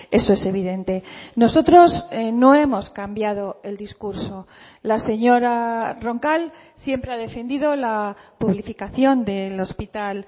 eso es evidente nosotros no hemos cambiado el discurso la señora roncal siempre ha defendido la publificación del hospital